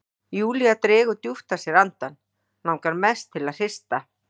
Júlía dregur djúpt að sér andann, langar mest til að hrista